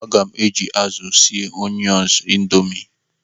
Aga m eji azụ sie Onion Indomie.